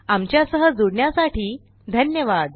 आमच्या सह जुडण्यासाठी धन्यवाद